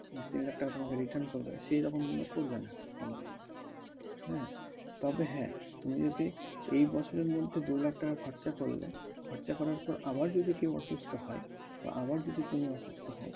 তিন লাখ টাকা তোমাকে return করবে সেরকম কিন্তু করবে না company, হ্যাঁ ? তবে হ্যাঁ তুমি যদি এই বছরের মধ্যে দু লাখ টাকা খরচা করলে খরচা করার পর আবার যদি কেউ অসুস্থ হয় বা আবার যদি তুমি অসুস্থ হও